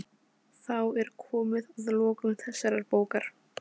Þá er komið að lokum þessarar bókar.